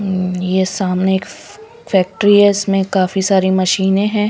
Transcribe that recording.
हम्म ये सामने एक फैक्ट्री है इसमें काफी सारी मशीनें हैं.